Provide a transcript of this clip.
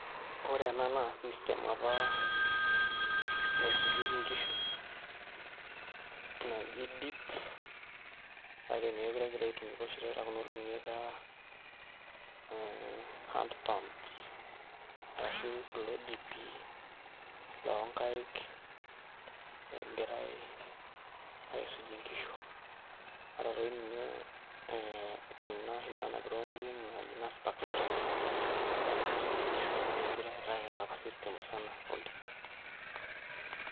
Ore ena naa system apa nisujeki nkishu, naji dip, kake mekure egira aitumika oshi taata kunolong'i etaa hand pumps ashu kulo dipi lonkai egirai aisujie nkishu, ata toi ninye eh kuna oshi nanapi tonkoriong'i naji nastack spray ,amu mekure eetae enapa system musana oldip.